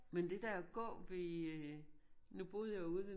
Men det der gå ved øh nu boede jeg jo ude ved